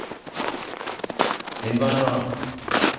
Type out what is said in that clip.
indvandrere